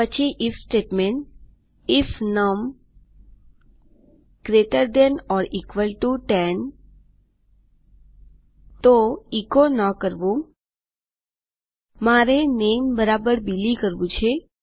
પછી if statement if num is greater than or equal to 10 then no echo જો num ૧૦ કરતા વધારે અથવા સમાન હોય તો એચો ન કરવું Iમારે નામે બિલી કરવું છે